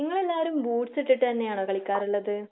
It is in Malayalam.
നിങ്ങള് എല്ലാവരും ബൂട്സ് ഇട്ടിട്ട് തന്നെയാണോ കളിക്കാറുള്ളത്?